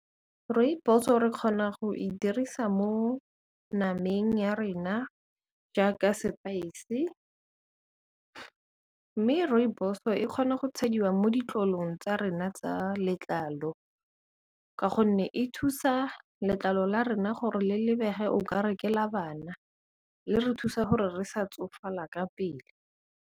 Rooibos-o re kgona go e dirisa mo nameng ya rena jaaka sepaese, mme Rooibos-o e kgona go tshediwa mo ditlolong tsa rena tsa letlalo ka gonne e thusa letlalo la rena gore le lebege okare ke la bana, le re thusa gore re sa tsofala ka pele.